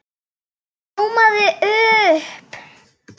Hún ljómaði upp!